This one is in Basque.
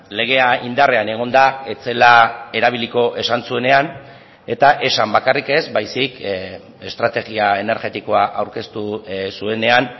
legea indarrean egonda ez zela erabiliko esan zuenean eta esan bakarrik ez baizik estrategia energetikoa aurkeztu zuenean